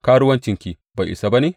Karuwancinki bai isa ba ne?